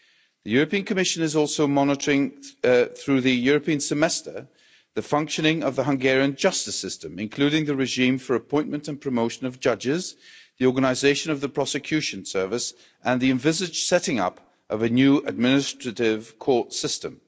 The Commission is also, through the European Semester, monitoring the functioning of the Hungarian justice system, including the regime for the appointment and promotion of judges, the organisation of the prosecution service, and the envisaged setting up of a new administrative court system.